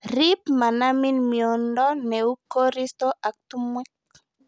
Rip manamin miondo neu koristo ak tumwek